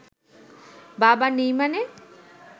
বাবা নেই মানে?